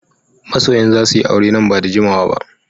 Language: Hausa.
Masoyan za su yi aure nan ba da jimawa ba